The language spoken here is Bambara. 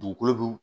Dugukolo dun